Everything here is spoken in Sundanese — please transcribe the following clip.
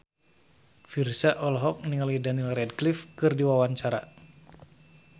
Virzha olohok ningali Daniel Radcliffe keur diwawancara